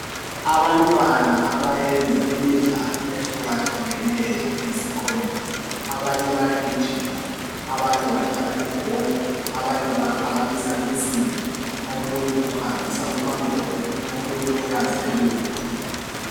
Abantwana abayenza imidlalo ehlukahlukeneyo eyisikhombisa abanye bayagijima abanye badlala ibhola abanye baphakamisa insimbi omunye uhambisa umangoye omunye uyazelula.